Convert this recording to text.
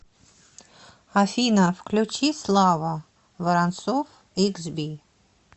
афина включи слава воронцов иксби